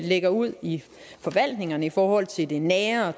lægger ud i forvaltningerne i forhold til det nære og